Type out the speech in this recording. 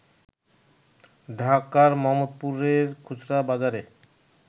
ঢাকার মোহাম্মদপুরের খুচরা বাজারে